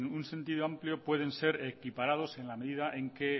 un sentido amplio pueden ser equiparados en la medida en que en